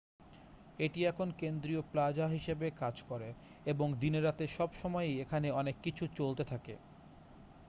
এটি এখন কেন্দ্রীয় প্লাজা হিসেবে কাজ করে এবং দিনে রাতে সব সময়ই এখানে অনেক কিছু চলতে থাকে